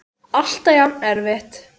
Alltaf jafn erfitt?